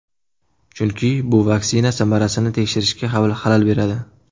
Chunki bu vaksina samarasini tekshirishga xalal beradi.